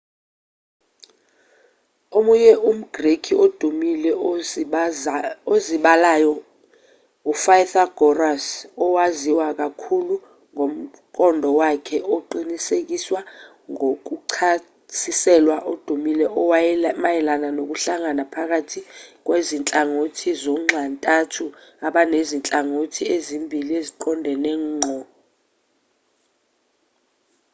omunye umgreki odumile usozibalo upythagoras owaziwa kakhulu ngomqondo wakhe oqinisekiswa ngokuchasiselwa odumile omayelana nokuhlangana phakathi kwezinhlangothi zonxantathu abanezinhlangothi ezimbili eziqondene ngqo